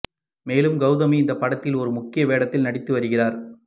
மேலும் கௌதமி இந்த படத்தில் ஒரு முக்கிய வேடத்தில் நடித்து வருகிறார்